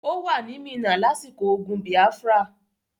Ó wà ní Minna lásìkò ogun Biafra.